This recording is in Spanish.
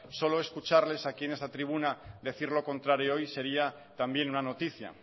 solo escucharles aquí en esta tribuna decir lo contrario hoy sería también una noticia